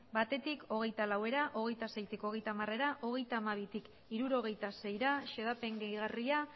batetik hogeita laura hogeita seitik hogeita hamarera hogeita hamabitik hirurogeita seira xedapen gehigarria